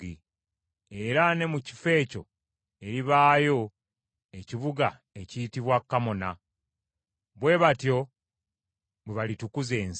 (Era ne mu kifo ekyo eribaayo ekibuga ekiyitibwa Kamona). Bwe batyo bwe balitukuza ensi.’